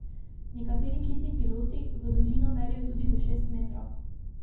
Nekateri kiti piloti v dolžino merijo tudi do šest metrov.